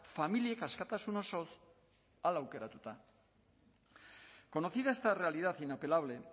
familiek askatasun osoz hala aukeratuta conocida esta realidad inapelable